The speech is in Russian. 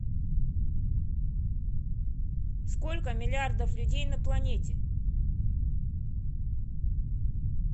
сколько миллиардов людей на планете